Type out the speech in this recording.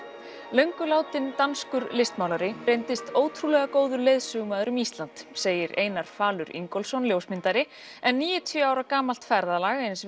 löngu látinn danskur listmálari reyndist ótrúlega góður leiðsögumaður um Ísland segir Einar falur Ingólfsson ljósmyndari en níutíu ára gamalt ferðalag eins